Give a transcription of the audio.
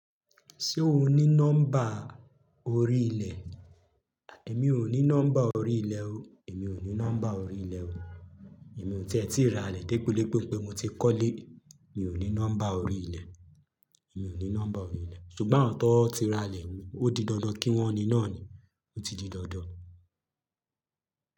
Ṣé o ní nọ́mbà orí ilẹ̀? Èmi ò ní nọ́mbà orí ilẹ̀ o. Èmi ò ní nọ́mbà orí ilẹ̀ o. Èmi ò tí ẹ ti rà'lè depodepo pe mo ti kọ́lé. Mi ò ní nọ́mbà orí ilẹ̀. Mi ò ní nọ́mbà orí ilẹ̀. Ṣùgbọ́n àwon tan ti rà lè, ó di dandan kí wọ́n ní náà ni. Ó ti di dandan.